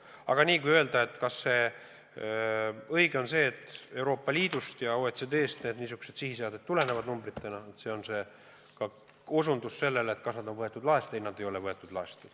Aga kui vastata, kas see on õige, et Euroopa Liidust ja OECD-st tulevad niisugused sihiseaded numbritena, ja kas need on äkki laest võetud, siis need ei ole laest võetud.